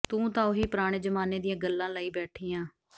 ਤੂੰ ਤਾਂ ਉਹੀ ਪੁਰਾਣੇ ਜ਼ਮਾਨੇ ਦੀਆਂ ਗੱਲਾਂ ਲਈ ਬੈਠੀ ਆਂ